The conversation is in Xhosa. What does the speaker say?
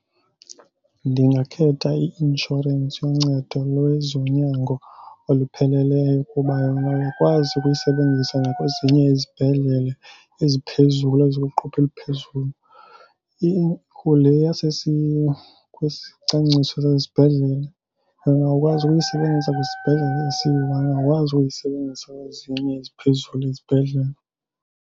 Ndingakhetha i-inshorensi yoncedo lwezonyango olupheleleyo kuba yona uyakwazi ukuyisebenzisa nakwezinye izibhedlele eziphezulu ezikwiqophe eliphezulu. Ikho le kwisicwangciso sasesibhedlele angakwazi ukuyisebenzisa kwisibhedlele esiyiwani. Angakwazi ukuyisebenzisa kwezinye eziphezulu esibhedlele.